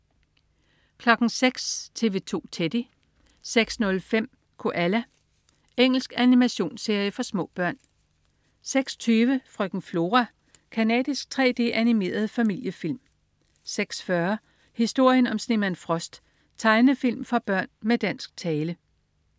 06.00 TV 2 Teddy 06.05 Koala. Engelsk animationsserie for små børn 06.20 Frøken Flora. Canadisk 3D-animeret familiefilm 06.40 Historien om snemand Frost. Tegnefilm for børn med dansk tale